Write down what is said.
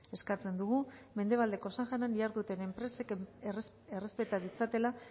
eskatzen dugu mendebaldeko saharan diharduten enpresek errespeta ditzatela